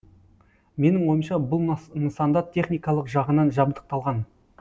менің ойымша бұл нысанда техникалық жағынан жабдықталған